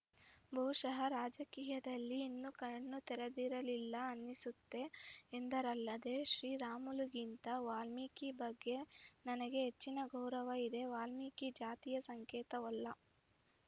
ಬಹುಶಃ ರಾಜಕೀಯದಲ್ಲಿ ಇನ್ನೂ ಕಣ್ಣೂ ತೆರೆದಿರಲಿಲ್ಲ ಅನಿಸುತ್ತೆ ಎಂದರಲ್ಲದೆ ಶ್ರೀರಾಮುಲುಗಿಂತ ವಾಲ್ಮೀಕಿ ಬಗ್ಗೆ ನನಗೆ ಹೆಚ್ಚಿನ ಗೌರವ ಇದೆ ವಾಲ್ಮೀಕಿ ಜಾತಿಯ ಸಂಕೇತವಲ್ಲ